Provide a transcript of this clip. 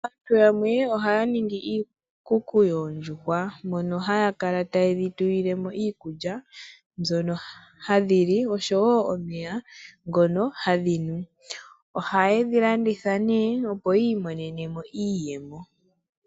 Aantu yamwe ohaya ningi iikuku yoondjuhwa mono haya kala taye dhitulilemo iikulya mbyono hadhili nosho wo omeya ngono hadhinu. Ohaye dhilanditha nee opo yiimonenemo iiyemo.